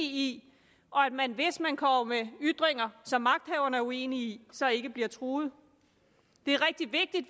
i og at man hvis man kommer med ytringer som magthaverne er uenige i så ikke bliver truet det er rigtig vigtigt